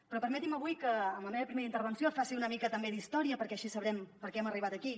però permeti’m avui que amb la meva primera intervenció faci una mica també d’història perquè així sabrem per què hem arribat aquí